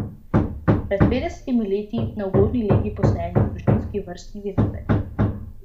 Pred petdesetimi leti na ugodni legi posajeni družinski vrstni vinogradi.